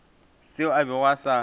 seo a bego a sa